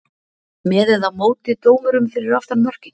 með eða móti dómurum fyrir aftan mörkin?